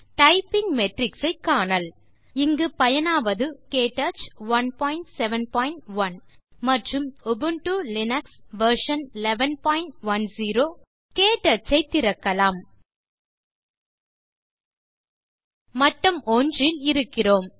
typing matrix ஐ காணல் இங்கு பயனாவது உபுண்டு லினக்ஸ் வெர்ஷன் 1110 மற்றும் க்டச் 171 க்டச் ஐ திறக்கலாம் மட்டம் 1 இல் இருக்கிறோம்